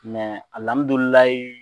Mɛ alamidulilayi